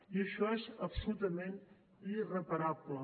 i això és absolutament irreparable